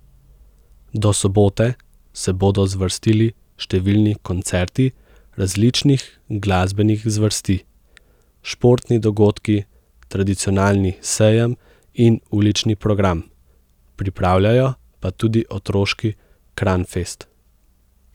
Do sobote se bodo zvrstili številni koncerti različnih glasbenih zvrsti, športni dogodki, tradicionalni sejem in ulični program, pripravljajo pa tudi otroški Kranfest.